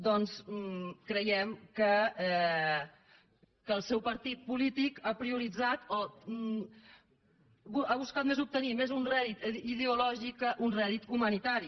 doncs creiem que el seu partit polític ha prioritzat o ha buscat més obtenir un rèdit ideològic que un rèdit humanitari